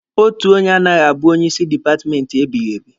Otu onye anaghị abụ onye isi dipatmenti ebighiebi